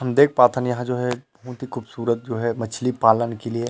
हम देख पाथन यहाँ जो है बहुत ही खूबसूरत जो है मछली पालन के लिए--